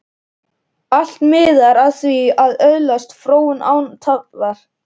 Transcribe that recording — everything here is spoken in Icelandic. Allt miðar að því að öðlast fróun, án tafar.